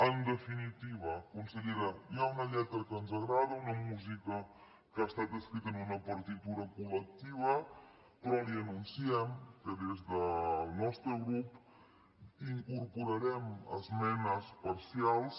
en definitiva consellera hi ha una lletra que ens agrada una música que ha estat escrita en una partitura col·lectiva però li anunciem que des del nostre grup incorporarem esmenes parcials